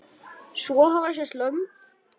Svo hafa sést lömb.